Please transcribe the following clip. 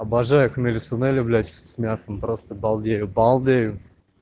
обожаю хмели-сунели блять с мясом просто балдею балдею